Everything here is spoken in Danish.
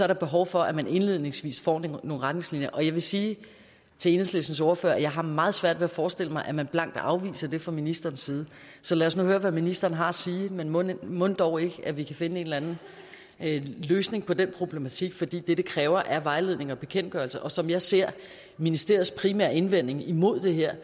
der behov for at man indledningsvis får nogle retningslinjer og jeg vil sige til enhedslistens ordfører at jeg har meget svært ved at forestille mig at man blankt afviser det fra ministerens side så lad os nu høre hvad ministeren har at sige men mon mon dog ikke at vi kan finde en eller anden løsning på den problematik fordi det det kræver er vejledning og bekendtgørelser og som jeg ser ministeriets primære indvending imod det her er